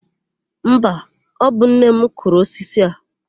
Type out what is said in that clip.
Mba, ọ bụ nne m kụrụ osisi a.